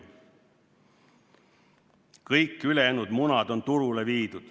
Kõik ülejäänud munad on turule viidud ..."